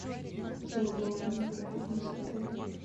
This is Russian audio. хотела бы узнать про фитнес отель